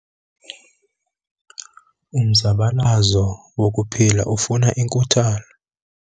Umzabalazo wokuphila ufuna inkuthalo.